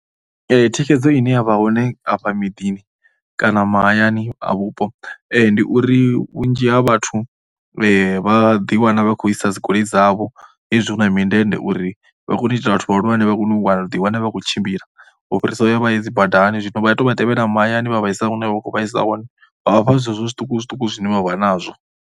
Thikhedzo ine ya vha hone afha miḓini kana mahayani a vhupo ndi uri vhunzhi ha vhathu vha ḓiwana vha khou isa dzigoloi dzavho hezwi hu mindende uri vha kone u itela vhathu vhahulwane vha kone u ḓiwana vha khou tshimbila u fhirisa u ya vha ye dzi badani. Zwino vha tou vha tevhela mahayani vha vha isa hune vha vha khou vha isa hone vha vhafha zwezwo zwiṱukuṱuku zwine vha vha nazwo.